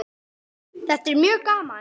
Þetta er mjög gaman.